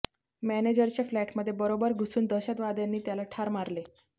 मॅनेजरच्या फ्लॅटमध्ये बरोबर घुसून दहशतवाद्यांनी त्याला ठार मारले